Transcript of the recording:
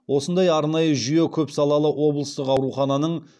осындай арнайы жүйе көпсалалы облыстық аурухананың